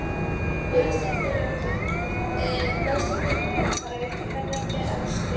Neðstu þrepin eru þar að auki hærri en þau efstu.